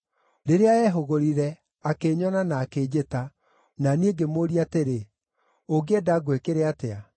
Rĩrĩa eehũgũrire, akĩnyona, na akĩnjĩta, na niĩ ngĩmũũria atĩrĩ, ‘Ũngĩenda ngwĩkĩre atĩa?’